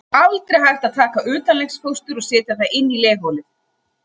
Aldrei er hægt að taka utanlegsfóstur og setja það inn í legholið.